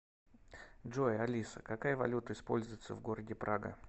джой алиса какая валюта используется в городе прага